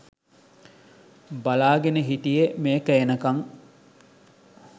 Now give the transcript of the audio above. බලාගෙන හිටියේ මේක එනකං.